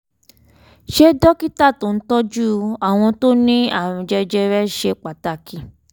ṣé dókítà tó ń tọ́jú àwọn tó ní àrùn jẹjẹrẹ ṣe pàtàkì?